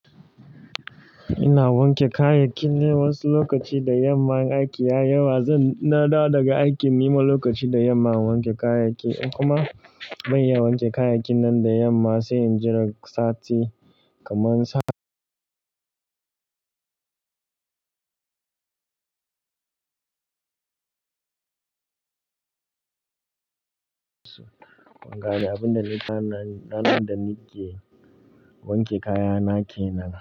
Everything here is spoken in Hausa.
Ina wanke kayakin ne wasu lokaci da yamma in aiki ya yawa zan dawo daga aiki nima lokaci da yamma in wanke kayaki kuma ban iya wanke kayakin nan da yamma sai in jiran sati kamar sa. Wangara abin da na ɗanan da nake wanke kaya nake na.